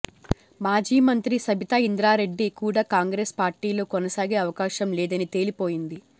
మాజీ మంత్రి సబితా ఇంద్రారెడ్డి కూడ కాంగ్రెస్ పార్టీలో కొనసాగే అవకాశం లేదని తేలిపోయింది